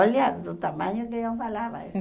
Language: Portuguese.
Olha do tamanho que eu falava isso.